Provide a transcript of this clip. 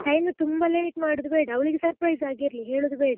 Time ತುಂಬಾ late ಮಾಡುದು ಬೇಡ ಅವಳಿಗೆ surprise ಆಗಿ ಇರ್ಲಿ ಹೇಳುದು ಬೇಡಲ್ಲ.